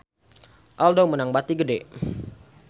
Aldo meunang bati gede